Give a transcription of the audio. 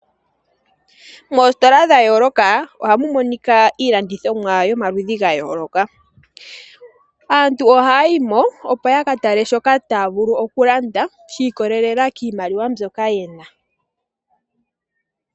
Moositola dha yooloka ohamu monika iilandithomwa yomaludhi ga yooloka .Aantu oha yayimo opo ya katale shoka taya vulu okulanda shi ikolelela kiimaliwa mbyoka yena